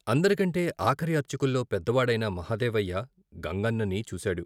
అందరికంటే ఆఖరి అర్చకుల్లో పెద్దవాడైన మహదేవయ్య గంగన్నని చూశాడు.